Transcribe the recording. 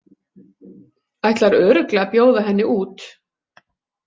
Ætlar örugglega að bjóða henni út.